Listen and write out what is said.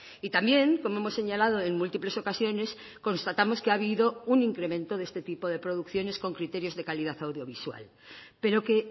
y también como hemos señalado en múltiples ocasiones constatamos que ha habido un incremento de este tipo de producciones con criterios de calidad audiovisual pero que